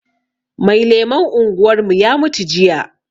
Mai lemon unguwarmu ya mutu jiya